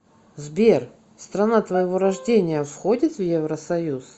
сбер страна твоего рождения входит в евросоюз